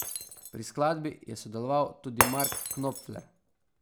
Pri skladbi je sodeloval tudi Mark Knopfler.